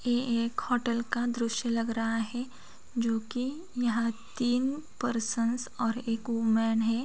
ये एक होटल का दृश्य लग रहा है जो की यहाँ तीन पर्सन्स और एक वुमन है।